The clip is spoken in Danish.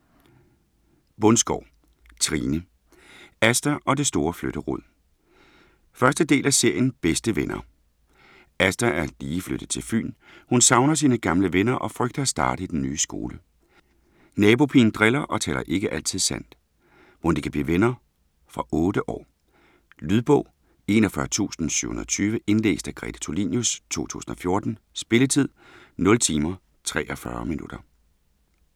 Bundsgaard, Trine: Asta og det store flytterod 1. del af serien Bedste venner. Asta er lige flyttet til Fyn. Hun savner sine gamle venner og frygter at starte i den nye skole. Nabopigen driller og taler ikke altid sandt. Mon de kan blive venner? Fra 8 år. Lydbog 41720 Indlæst af Grete Tulinius, 2014. Spilletid: 0 timer, 43 minutter.